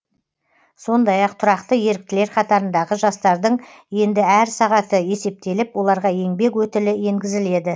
сондай ақ тұрақты еріктілер қатарындағы жастардың енді әр сағаты есептеліп оларға еңбек өтілі енгізіледі